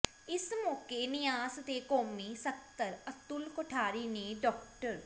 ਇਸ ਮੌਕੇ ਨਿਆਸ ਦੇ ਕੌਮੀ ਸਕੱਤਰ ਅਤੁਲ ਕੋਠਾਰੀ ਨੇ ਡਾ